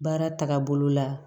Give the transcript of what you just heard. Baara tagabolo la